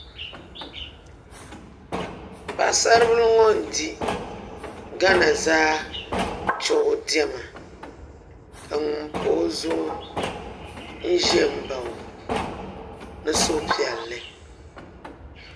Paɣasari bili ŋo n di gana zaa chuɣu diɛma ka ŋun pa o zuɣu ʒɛ n baɣa o ni suhupiɛlli